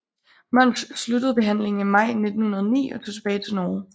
Munch sluttede behandlingen i maj 1909 og tog tilbage til Norge